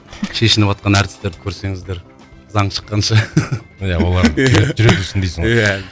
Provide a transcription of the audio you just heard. шешініватқан әртістерді көрсеңіздер заң шыққанша иә олар жүре берсін дейсің ғой иә